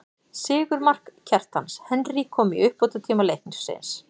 Sigurmark, Kjartans Henry kom í uppbótartíma leiksins.